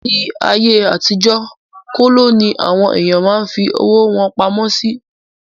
Ní ayé àtijó, kóló ní àwọn èèyàn máa ń fí owó wọn pamọ́ sí